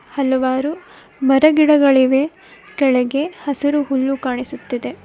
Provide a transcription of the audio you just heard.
ಹಲವಾರು ಮರ ಗಿಡಗಳಿವೆ ಕೆಳಗೆ ಹಸಿರು ಹುಲ್ಲು ಕಾಣಿಸುತ್ತಿದೆ.